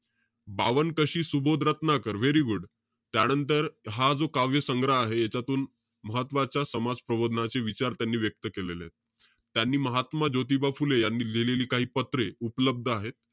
पावन कशी Subodh Ratnakar, very good. त्यानंतर, हा जो काव्य संग्रह आहे, याच्यातुन महत्वाच्या समाज प्रबोधनाचे विचार त्यांनी व्यक्त केलेले आहेत. त्यांनी महात्मा ज्योतिबा फुले यांनी लिहिलेली काही पत्रे उपलब्ध आहेत.